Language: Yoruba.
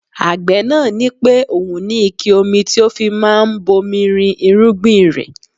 Agbe náà ní pé òun ní ike omi tí ó fi máa ń bomi rin irúgbìn rẹ.